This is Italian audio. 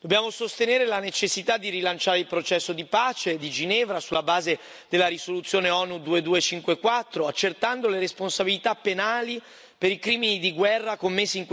Dobbiamo sostenere la necessità di rilanciare il processo di pace di Ginevra sulla base della risoluzione ONU 2254 accertando le responsabilità penali per i crimini di guerra commessi in questi anni.